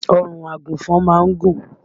Ọrùn àgùnfọn má ń gùn